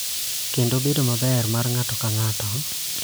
Kendo bedo maber mar ng�ato ka ng�ato.